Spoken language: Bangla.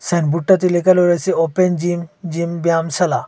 সাইনবোর্ডটাতে লেখালো রয়েছে ওপেন জিম জিম ব্যায়ামশালা।